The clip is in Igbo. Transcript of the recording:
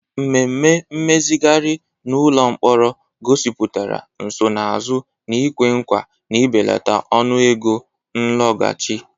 Mmemme mmezigharị n'ụlọ mkpọrọ gosipụtara nsonaazụ na-ekwe nkwa na ibelata ọnụego nlọghachi.